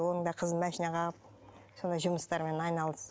оның да қызын машина қағып солай жұмыстармен айналысып